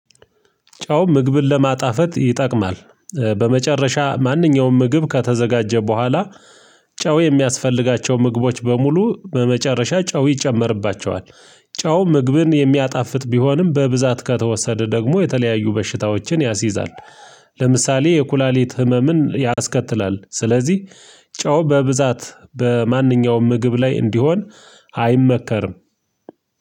ጨው ምግብን ለማጣፈት ይጠቅማል። በመጨረሻ ማንኛውም ምግብ ከተዘጋጀ በኋላ ጨው የሚያስፈልጋቸው ምግቦች በሙሉ በመጨረሻ ጨው ይጨመርባቸዋል። ጨው ምግብን የሚያጣፍጥ ቢሆንም በብዛት ከተወሰደ ደግሞ የተለያዩ በሽታዎችን ያስይዛል። ለምሳሌ የኩላሊት ህመምን ያስከትላል። ስለዚህ ጨው በብዛት በማንኛውም ምግብ ላይ እንዲሆን አይመከርም